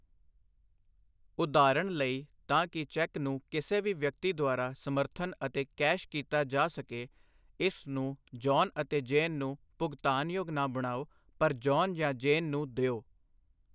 ਉਦਾਹਰਨ ਲਈ, ਤਾਂ ਕਿ ਚੈੱਕ ਨੂੰ ਕਿਸੇ ਵੀ ਵਿਅਕਤੀ ਦੁਆਰਾ ਸਮਰਥਨ ਅਤੇ ਕੈਸ਼ ਕੀਤਾ ਜਾ ਸਕੇ, ਇਸ ਨੂੰ 'ਜੌਨ ਅਤੇ ਜੇਨ' ਨੂੰ ਭੁਗਤਾਨਯੋਗ ਨਾ ਬਣਾਓ, ਪਰ 'ਜੌਨ ਜਾਂ ਜੇਨ' ਨੂੰ ਦਿਓ।